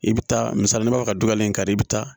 I bɛ taa misali dɔ ka don a ye kari i bɛ taa